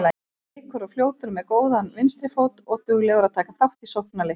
Er kvikur og fljótur, með góðan vinstri fót og duglegur að taka þátt í sóknarleiknum.